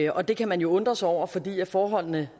og det kan man jo undre sig over fordi forholdene